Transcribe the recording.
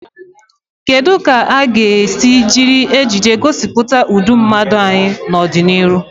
Kedu ka a ga-esi jiri ejiji gosipụta ụdị mmadụ anyị n'ọdịnihu?